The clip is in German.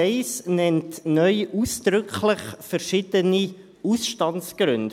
Der Absatz 1 nennt neu ausdrücklich verschiedene Ausstandsgründe.